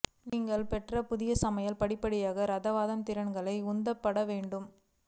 நீங்கள் பெற்ற புதிய சமையல் படிப்படியாக ரசவாதம் திறன்கள் உந்தப்பட்ட வேண்டும்